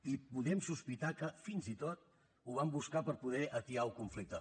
i podem sospitar que fins i tot ho van buscar per poder atiar el conflicte